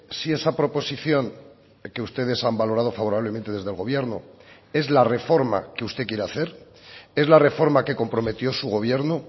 si esa proposición que ustedes han valorado favorablemente desde el gobierno es la reforma que usted quiere hacer es la reforma que comprometió su gobierno